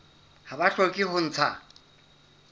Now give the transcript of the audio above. ha ba hloke ho ntsha